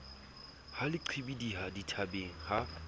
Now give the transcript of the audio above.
ha le qhibidiha dithabeng ha